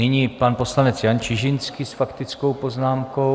Nyní pan poslanec Jan Čižinský s faktickou poznámkou.